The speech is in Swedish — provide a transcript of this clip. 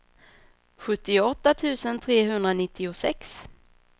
sjuttioåtta tusen trehundranittiosex